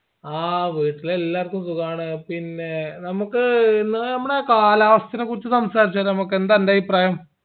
ആ വീട്ടിലെല്ലാർക്കു സുഗാണ് പിന്നേ നമ്മക്ക് ഇന്ന് ആ കാലാവസ്ഥനെ കുറിച്ച് സംസാരച്ചാലോ യെന്താ അൻ്റെ അഭിപ്രായം